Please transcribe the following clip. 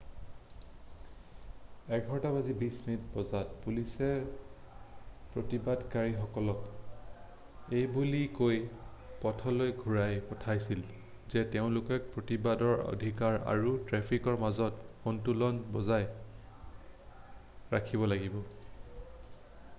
11:20 বজাত পুলিচে প্ৰতিবাদকাৰীসকলক এইবুলি কৈ পদপথলৈ ঘূৰাই পঠাইছিল যে তেওঁলোকে প্ৰতিবাদৰ অধিকাৰ আৰু ট্ৰেফিকৰ মাজত সন্তুলন বজাই ৰাখিব লাগিব।